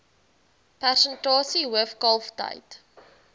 persentasie hoof kalftyd